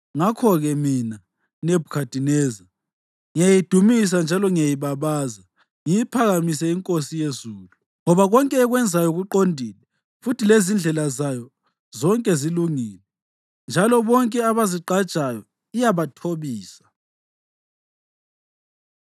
Ngakho-ke mina, Nebhukhadineza, ngiyayidumisa njalo ngiyayibabaza, ngiyiphakamise iNkosi yezulu, ngoba konke ekwenzayo kuqondile futhi lezindlela zayo zonke zilungile. Njalo bonke abazigqajayo iyabathobisa.